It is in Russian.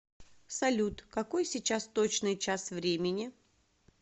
салют какой сейчас точный час времени